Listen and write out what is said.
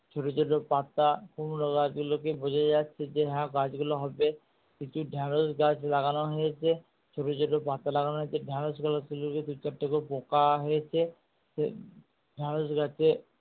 ছোটো ছোটো পাতা কুমড়ো গাছ গুলোকে বোঝা যাচ্ছে যে হ্যাঁ গাছ গুলো হবে। প্রচুর ঢেঁড়স গাছ লাগানো হয়েছে। ছোটো ছোটো পাতা লাগানো হয়েছে ঢেঁড়স গুলো দু চারটে করে পোকা হয়েছে ঢেঁড়স গাছে